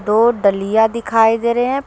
दो डलिया दिखाई दे रहे है।